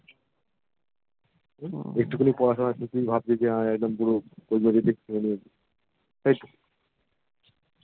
একটুখানি পড়াশোনা করে তুই ভাবছিস যে পুরো তোর মর্জিতে করেবেন তাইতো